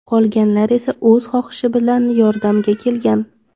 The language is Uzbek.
Qolganlar esa o‘z xohishi bilan yordamga kelgan.